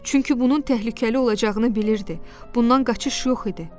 Çünki bunun təhlükəli olacağını bilirdi, bundan qaçış yox idi.